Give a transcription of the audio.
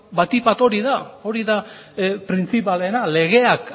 batik bat hori da printzipalena legeak